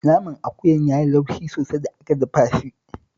Naman akuyan ya yi laushi sosai da aka dafa shi